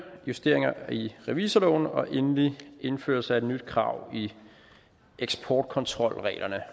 justeringer i revisorloven og endelig indføres der et nyt krav i eksportkontrolreglerne